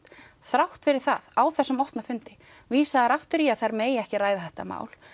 þrátt fyrir það á þessum opna fundi vísa þær aftur í að þær megi ekki ræða þetta mál